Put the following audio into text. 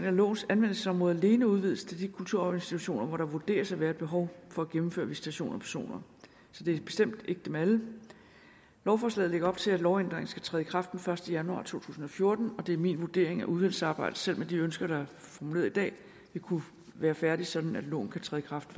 at lovens anvendelsesområde alene udvides til de kulturarvsinstitutioner hvor der vurderes at være et behov for at gennemføre visitation af personer så det er bestemt ikke dem alle lovforslaget lægger op til at lovændringen skal træde i kraft den første januar to tusind og fjorten og det er min vurdering at udvalgsarbejdet selv med de ønsker der er formuleret i dag vil kunne være færdigt sådan at loven kan træde i kraft